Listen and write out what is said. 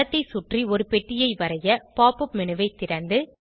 படத்தை சுற்றி ஒரு பெட்டியை வரைய pop up மேனு ஐ திறந்து